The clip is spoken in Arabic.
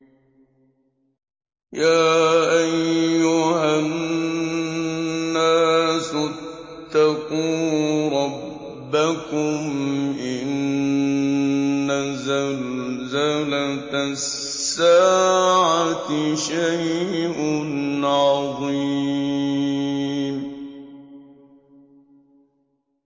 يَا أَيُّهَا النَّاسُ اتَّقُوا رَبَّكُمْ ۚ إِنَّ زَلْزَلَةَ السَّاعَةِ شَيْءٌ عَظِيمٌ